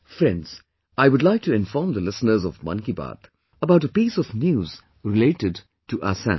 Friends, I would like to inform the listeners of 'Mann Ki Baat' about a piece of news related to Assam